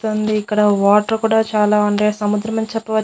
ఇక్కడ వాటర్ కూడా చాలా ఉండే సముద్రం అని చెప్పవ--